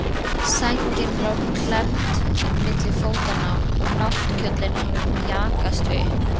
Sængin lá klemmd milli fótanna og náttkjóllinn hafði mjakast upp.